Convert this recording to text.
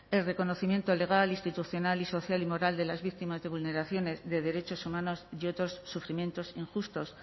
el reconocimiento legal institucional y social y moral de las víctimas de vulneraciones de derechos humanos y otros sufrimientos injustos